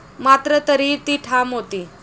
मात्र तरीही ती ठाम होती.